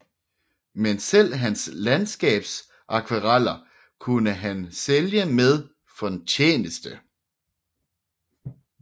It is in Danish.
Men selv hans landskabsakvareller kunne han sælge med fortjeneste